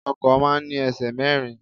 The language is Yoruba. Ọkọ̀ máa ń ní ẹsẹ̀ mẹ́rin.